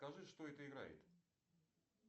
скажи что это играет